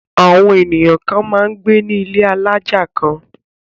Àwọn ènìyàn kan máa ń gbé ní ilé alájà kan.